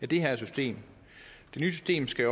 det her system det nye system skal